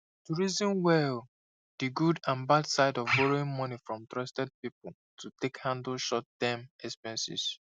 to reason well the good and bad side of borrowing money from trusted people to take handle short term expenses